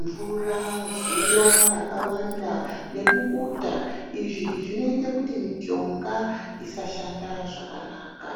mvura, zuwa rakawanda nebukuta izvi zvinoita kuti mishonga isashanda zvakanaka.